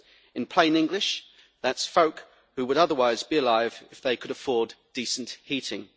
In plain English, that is folk who would otherwise be alive if they could afford decent heating.